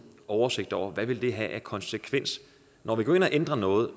oversigt over hvad det vil have af konsekvenser når vi går ind og ændrer noget